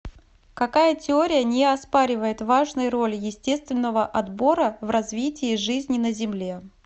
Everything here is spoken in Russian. какая теория не оспаривает важной роли естественного отбора в развитии жизни на земле